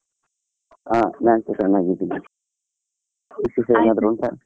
ಹಾ ನಾನ್ಸ ಚೆನ್ನಾಗಿದ್ದೇನೆ, ವಿಶೇಷ ಏನಾದ್ರು ಉಂಟಾ?